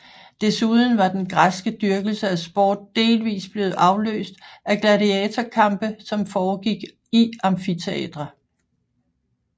Desuden var den græske dyrkelse af sport delvis blevet afløst af gladiatorkampe som foregik i amfiteatre